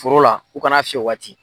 Foro la u kana'a fiyɛ o waati.